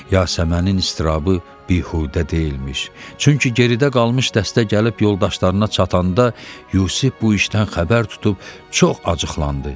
Yasəmənin iztirabı bihudə deyilmiş, çünki geridə qalmış dəstə gəlib yoldaşlarına çatanda Yusif bu işdən xəbər tutub çox acıqlandı.